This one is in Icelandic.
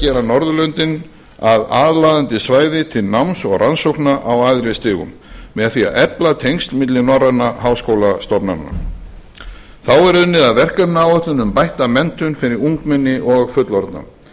gera norðurlönd að aðlaðandi svæði til náms og rannsókna á æðri stigum með því að efla tengsl milli norrænna háskólastofnana þá er unnið að verkefnaáætlun um bætta menntun fyrir ungmenni og fullorðna